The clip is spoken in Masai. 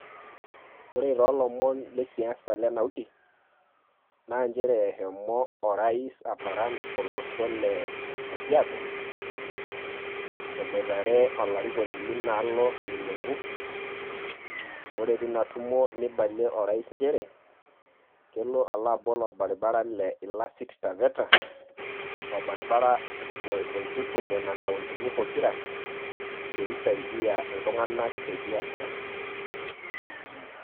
Ore tolomon le siasa lena wiki, na njere eshomo o rais aparan olosho le kajiado, eboitare olarikoni linaalo ole lenku. Ore tina tumo neibalie o rais njere, kelo alo abol orbaribara le ilasit-taveta, orbaribara oitutum nena kauntini pokira peisaidia iltung'anak te biashara.